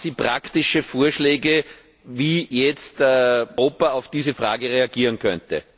Haben Sie praktische Vorschläge, wie jetzt Europa auf diese Frage reagieren könnte?